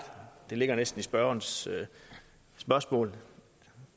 det ligger næsten i spørgerens spørgsmål